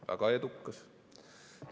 Väga edukas!